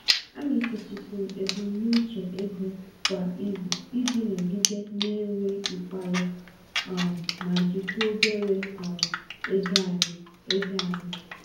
Anyị setịpụrụ ebumnuche ego kwa izu iji nọgide na-enwe mkpali um ma jikwaa obere um ego anyị. ego anyị.